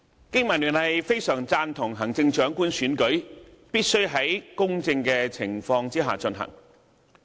經民聯非常贊同行政長官選舉必須在公正的情況下進行。